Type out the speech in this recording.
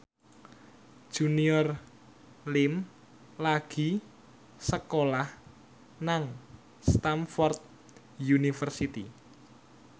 Junior Liem lagi sekolah nang Stamford University